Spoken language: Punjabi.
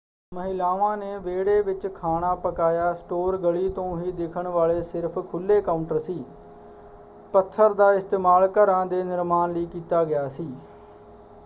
ਮਹਿਲਾਵਾਂ ਨੇ ਵਿਹੜੇ ਵਿੱਚ ਖਾਣਾ ਪਕਾਇਆ; ਸਟੋਰ ਗਲੀ ਤੋਂ ਹੀ ਦਿਖਣ ਵਾਲੇ ਸਿਰਫ਼ ਖੁੱਲ੍ਹੇ ਕਾਊਂਟਰ ਸੀ। ਪੱਥਰ ਦਾ ਇਸਤੇਮਾਲ ਘਰਾਂ ਦੇ ਨਿਰਮਾਣ ਲਈ ਕੀਤਾ ਗਿਆ ਸੀ।